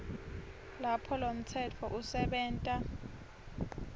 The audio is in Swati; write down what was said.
lapho lomtsetfo usebenta